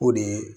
O de ye